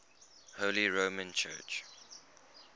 holy roman church